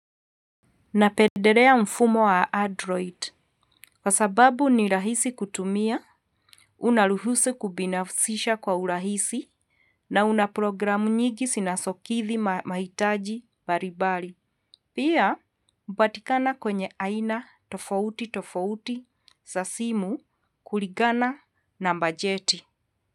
Na pederea mfumo wa Adroid. Kwa sababu, ni rahisi kutumia, unaluhusu kubinafisisha kwa urahisi, na unaprogramu nyigi sinasokithi mahitaji baribari. Pia, mbatikana kwenye aina tofauti tofauti, sa simu, kuligana, na mbajeti.